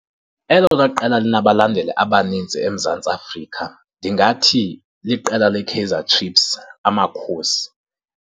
Elona qela linabalandeli abanintsi eMzantsi Afrika ndingathi liqela leKaizer Chiefs, Amakhosi.